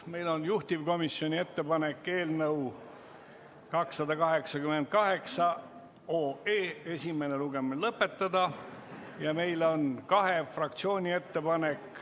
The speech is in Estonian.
Meil on juhtivkomisjoni ettepanek eelnõu 288 esimene lugemine lõpetada ja meil on kahe fraktsiooni ettepanek.